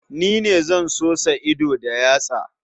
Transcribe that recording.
Ni ne zan sosa ido da yatsa.